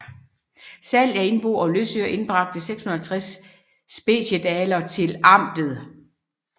Salg af indbo og løsøre indbragte 650 speciedalere til amtet